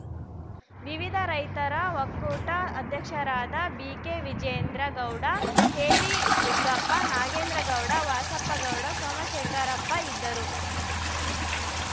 ವಿವಿಧ ರೈತರ ಒಕ್ಕೂಟದ ಅಧ್ಯಕ್ಷರಾದ ಬಿಕೆವಿಜೇಂದ್ರ ಗೌಡ ಕೆಬಿದುಗ್ಗಪ್ಪ ನಾಗೇಂದ್ರ ಗೌಡ ವಾಸಪ್ಪ ಗೌಡ ಸೋಮಶೇಖರಪ್ಪ ಇದ್ದರು